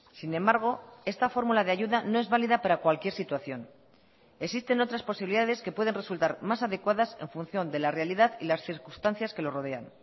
sin embargo esta fórmula de ayuda no es válida para cualquier situación existen otras posibilidades que pueden resultar más adecuadas en función de la realidad y las circunstancias que lo rodean